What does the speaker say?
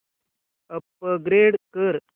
upgrade कर